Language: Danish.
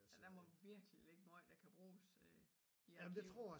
Ja der må virkelig ligge meget der kan bruges øh i arkiverne